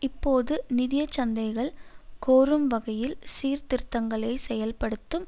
இப்போது நிதிய சந்தைகள் கோரும் வகையில் சீர்திருத்தங்களை செயல்படுத்தும்